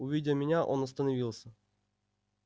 увидя меня он остановился